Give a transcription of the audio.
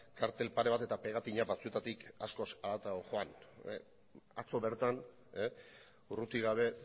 kartel pare bat eta pegatina batzuetatik askoz haratago joan atzo bertan urruti gabe